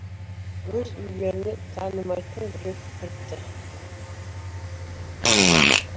өз үйлеріне танымайтын біреу кіріпті